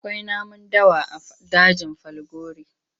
Akwai namun dawa a dajin Falgore.